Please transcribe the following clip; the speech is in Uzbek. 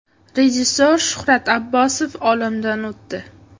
Rejissor Shuhrat Abbosov olamdan o‘tdi.